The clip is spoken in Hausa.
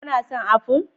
Kuna son aful?